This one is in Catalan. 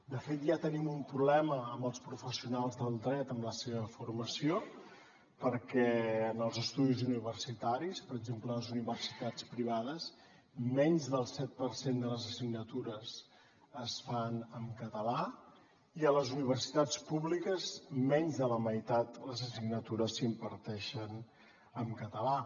de fet ja tenim un problema amb els professionals del dret amb la seva formació perquè en els estudis universitaris per exemple a les universitats privades menys del set per cent de les assignatures es fan en català i a les universitats públiques menys de la meitat de les assignatures s’imparteixen en català